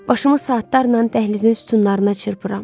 Başımı saatlarla dəhlizin sütunlarına çırpıram.